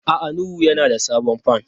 A'a Nuhu yana da sabon fan.